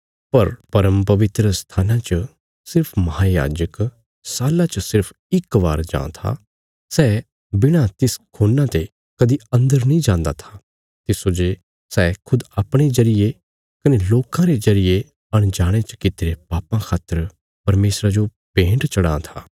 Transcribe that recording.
पर परमपवित्र स्थाना च सिर्फ महायाजक साल्ला च सिर्फ इक बार जां था सै बिणा तिस खून्ना ते कदीं अन्दर नीं जान्दा था तिस्सो जे सै खुद अपणे जरिये कने लोकां रे जरिये अनजाणे च कित्‍तीरे पापां खातर परमेशरा जो भेन्ट चढ़ां था